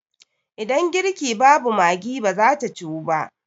Idan girki babu Maggi ba za ta Ciwu ba.